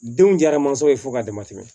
Denw diyara mansa ye fo k'a dama tɛmɛ